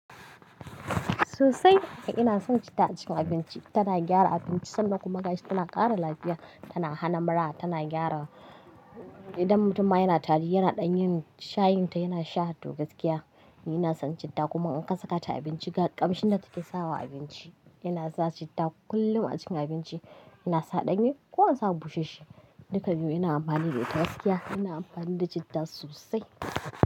Sosai ina son citta a cikin abinci. Tana gyara abinci sannan kuma ga shi tana ƙara lafiya, tana hana mura, tana gyara idan mutumma yana tari yana ɗan yin shayin ta, yana sha hato gaskiya. Ina son citta kuma in kasaka ta abinci kamshin da take sawa abinci yana sa citta kullum a cikin abinci ina sa ɗanye ko in sa busasshe duka biyun yana amfanin da ita gaskiya. Ina amfani da citta sosai.